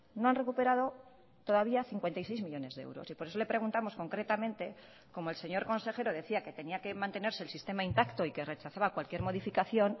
no han recuperado todavía cincuenta y seis millónes de euros y por eso le preguntamos concretamente como el señor consejero decía que tenía que mantenerse el sistema intacto y que rechazaba cualquier modificación